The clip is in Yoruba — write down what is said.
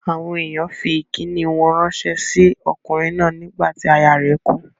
Àwọn èèyàn fí ìkíni wọn ránsẹ́ sí okùnrin náà nígbà tí aya rẹ̀ kú